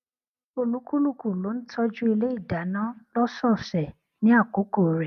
olúkúlùkù ló n tọjú ilé ìdáná lósòòsè ní àkókò rẹ